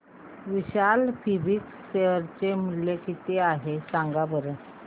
विशाल fabrics share चे मूल्य किती आहे सांगा बरं